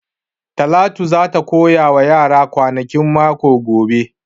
Talatu za ta koya wa yaran kwanakin mako gobe